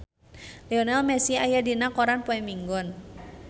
Lionel Messi aya dina koran poe Minggon